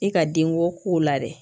I ka denko ko la dɛ